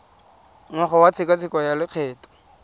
ngwaga wa tshekatsheko ya lokgetho